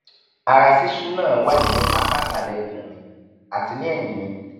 ara ṣíṣú náà wà ní apá ìsàlẹ ikùn mi àti ní ẹyìn mi